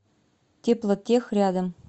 теплотех рядом